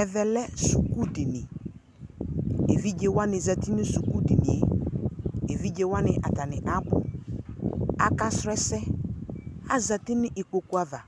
ɛmɛ lɛ suku dini, emlowanɩ zati nʊ sukudini yɛ, emlowa abʊ kʊ aka sʊ ɛsɛ, azati nʊ ikpokuava,